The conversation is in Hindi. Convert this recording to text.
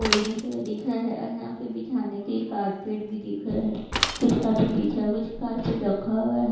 बिल्डिंग्स दिख रहा है यहां पे बिछाने के लिए कार्पेट भी दिख रहा है कुछ कार्पेट बिछा हुआ और कुछ कार्पेट रखा हुआ।